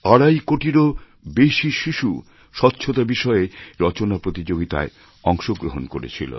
আড়াই কোটিরও বেশি শিশু স্বচ্ছতা বিষয়ে রচনা প্রতিযোগিতায় অংশ গ্রহণ করেছিল